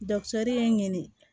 ye n ɲe